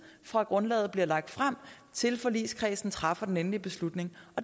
fra grundlaget bliver lagt frem til forligskredsen træffer den endelige beslutning